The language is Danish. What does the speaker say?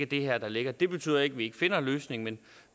det her der ligger det betyder ikke at vi ikke finder en løsning men